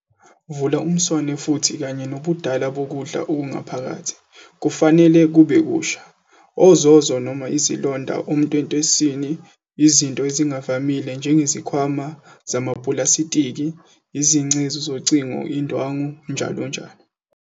Vula umswane futhi umthamo kanye nobudala bokudla okungaphakathi, kufanele kube kusha, ozozo noma izilonda ontwentweswini, izinto ezingavamile njengezikhwama zamapulasitiki, izincezu zocingo, indwangu, njll.